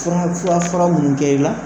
Fura fura fara minnu kɛ i la